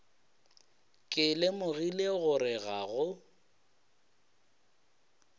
ke lemogile gore ga go